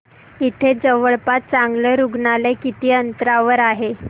इथे जवळपास चांगलं रुग्णालय किती अंतरावर आहे